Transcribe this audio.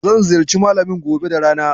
Zan ziyarci Malamin gobe da rana.